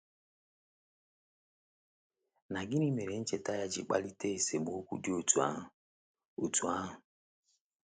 Na gịnị mere ncheta ya ji kpalite esemokwu dị otú ahụ? otú ahụ?